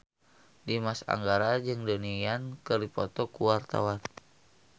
Dimas Anggara jeung Donnie Yan keur dipoto ku wartawan